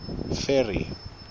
ferry